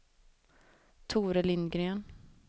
Tore Lindgren